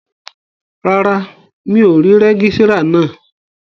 Rárá, mi ò rí rẹ́gísírà náà